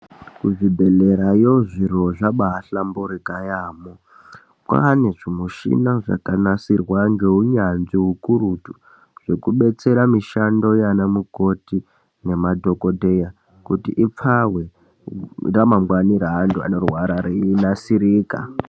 Kuzvi bhehlerayo zviro zvambai hlamburika yambo kwane zvimuchina zvakanasirwa ngeunyanzvi ukurutu zvekubetsera mushando yanamukoti nema dhokodheya kuti ipfave ramangwani reantu vanorwara reinasirika.